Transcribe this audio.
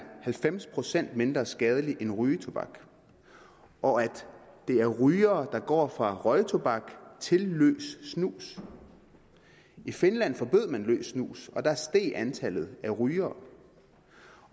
halvfems procent mindre skadeligt end rygetobak og at det er rygere der går fra røgtobak til løs snus i finland forbød man løs snus og der steg antallet af rygere